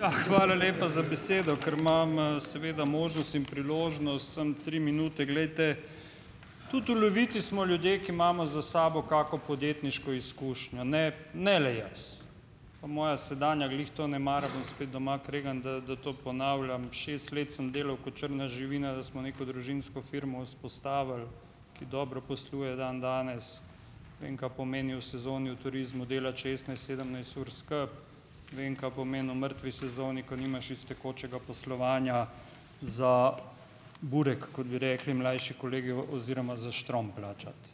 Ja, hvala lepa za besedo, ker imam, seveda možnost in priložnost samo tri minute, glejte, tudi v Levici smo ljudje, ki imamo za sabo kako podjetniško izkušnjo, ne, ne le jaz pa moja sedanja glih to ne mara, bom spet doma kregan, da da to ponavljam, šest let sem delal ko črna živina, da smo neko družinsko firmo vzpostavili, ki dobro posluje dandanes, vem, kaj pomeni v sezoni v turizmu delati šestnajst, sedemnajst ur skupaj, vem, kaj pomeni v mrtvi sezoni, ko nimaš iz tekočega poslovanja za burek, kot bi rekli mlajši kolegi, v oziroma za štrom plačati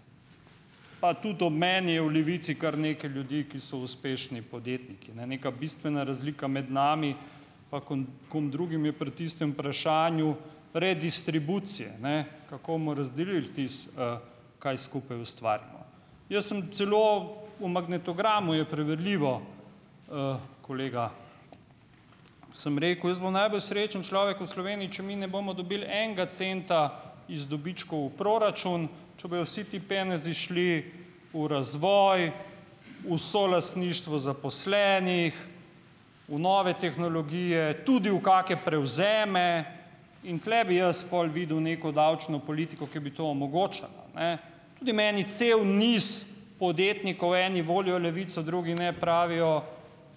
pa tudi ob meni je v Levici kar nekaj ljudi, ki so uspešni podjetniki, ki ne neka bistvena razlika med nami kom drugim, je pri tistem vprašanju redistribucije, ne, kako bomo razdelil tisto, kaj skupaj ustvarjamo, jaz sem celo, v magnetogramu je preverljivo, kolega sem rekel, jaz bom najbolj srečen človek v Sloveniji, če mi ne bomo dobili enega centa iz dobičkov v proračun, če bojo vsi ti penezi šli v razvoj, v solastništvo zaposlenih, v nove tehnologije, tudi v kake prevzeme, in tule bi jaz pol videl neko davčno politiko, ki bi to omogočala, ne, tudi meni cel niz podjetnikov, eni volijo Levico, drugi ne, pravijo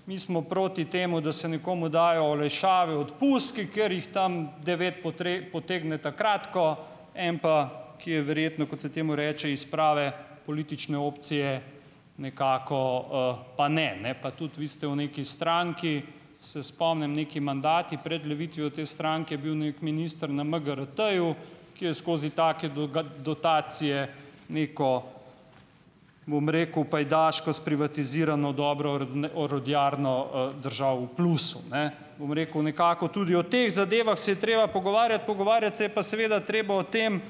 mi smo proti temu, da se nekomu dajo olajšave, odpustki katerih tam devet potegne ta kratko, en pa, ki je verjetno, kot se temu reče iz prave politične opcije, nekako, pa ne, ne pa tudi vi ste v neki stranki se spomnim, neki mandati pred levitvijo te stranke je bil neki minister na MGRT-ju, ki je skozi take dotacije neko, bom rekel, pajdaško sprivatizirano dobro orodjarno, držal v plusu, ne, bom rekel, nekako tudi v teh zadevah se je treba pogovarjati, pogovarjati se je pa seveda treba o tem,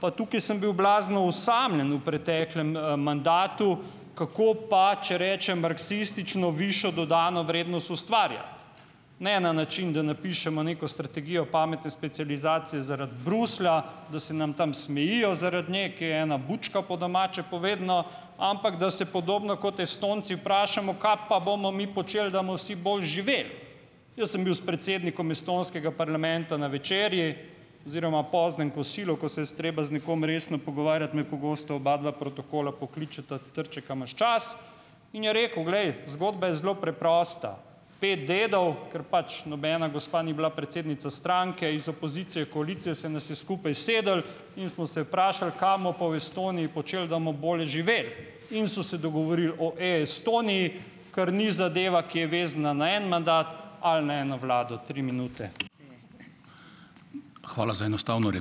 pa tukaj sem bil blazno osamljen v preteklem, mandatu, kako pa, če rečem marksistično, višjo dodano vrednost ustvarja ne na način, da napišemo neko strategijo pametne specializacije zaradi Bruslja, da se nam tam smejijo zaradi, ne, ki je ena bučka po domače povedano, ampak da se podobno kot Estonci vprašamo, kaj pa bomo mi počeli, da bomo vsi boljše živeli, jaz sem bil s predsednikom estonskega parlamenta na večerji oziroma poznem kosilu, ko se je treba z nekom resno pogovarjati, me pogosto obadva protokola pokličeta: "Trček, a imaš čas?" In je rekel: "Glej, zgodba je zelo preprosta, pet dedov, ker pač nobena gospa ni bila predsednica stranke, iz opozicije, koalicije se nas je skupaj sedlo, in smo se vprašali, kaj bomo pa v Estoniji počeli, da bomo bolje živeli." In so se dogovorili o Estoniji, kar ni zadeva, ki je vezana na en mandat ali na eno vlado, tri minute. Hvala za enostavno ...